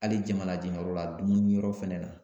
Ali jama lajɛyɔrɔ la dumuni yɔrɔ fɛnɛ na